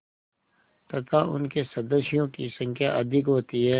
तथा उनके सदस्यों की संख्या अधिक होती है